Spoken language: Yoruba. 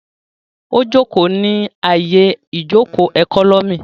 Ó jòkó ní àyè ìjòkó ẹkọ́nọ́mì